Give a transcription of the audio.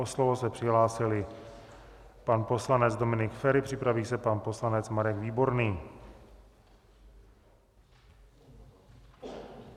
O slovo se přihlásili pan poslanec Dominik Feri, připraví se pan poslanec Marek Výborný.